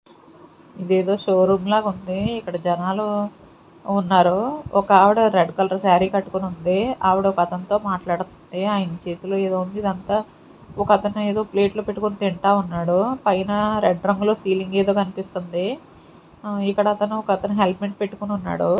ఇదేదో షోరూమ్ లాగా ఉంది ఇక్కడ జనాలు ఉన్నారు ఒకావిడ రెడ్ కలర్ సారీ కట్టుకొని ఉంది ఆవిడ ఒక అతనితో మాట్లాడుతుంది అయిన చేతిలో ఏదో ఉంది ఇదంతా ఒకతను ఏదో ప్లేట్ పెట్టుకొని తింటా ఉన్నాడు పైన రెడ్ రంగులో సీలింగ్ ఏదో కనిపిస్తుంది ఆ ఇక్కడ అతను ఒక అతను హెల్మెట్ పెట్టుకుని ఉన్నాడు.